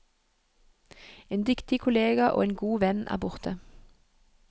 En dyktig kollega og en god venn er borte.